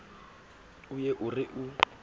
o ye a re o